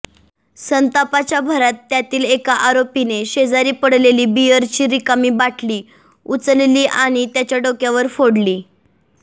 संतापाच्या भरात त्यातील एका आरोपीने शेजारी पडलेली बिअरची रिकामी बाटली उचलली आणि त्याच्या डोक्यावर फोडली